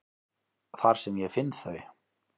Þar sem ég finn þau.